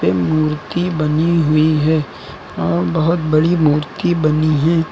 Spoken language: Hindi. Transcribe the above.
मूर्ति बनी हुई है और बहोत बड़ी मूर्ति बनी है।